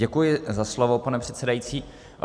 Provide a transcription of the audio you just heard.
Děkuji za slovo, pane předsedající.